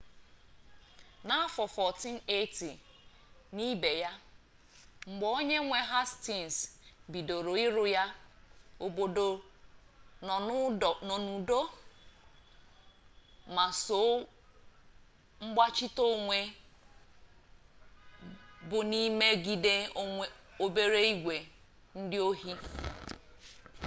n'afọ 1480 n'ibe ya mgbe onye nwe hastins bidoro ịrụ ya obodo nọ n'udo ma sọ mgbachite onwe bụ n'imegide obere igwe ndị ohi